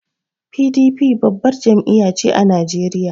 PDP babbar jam'iya ce a Najeriya.